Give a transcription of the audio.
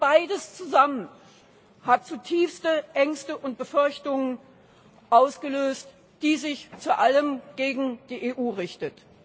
Beides zusammen hat zutiefst Ängste und Befürchtungen ausgelöst, die sich vor allem gegen die EU richten.